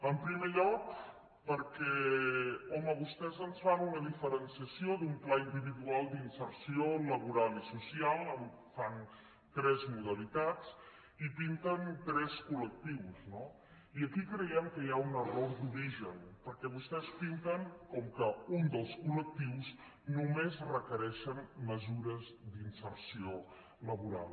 en primer lloc perquè home vostès ens fan una diferenciació d’un pla individual d’inserció laboral i social en fan tres modalitats i pinten tres col·lectius no i aquí creiem que hi ha un error d’origen perquè vostès pinten com que un dels col·lectius només requereix mesures d’inserció laboral